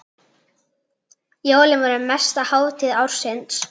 Jólin voru mesta hátíð ársins.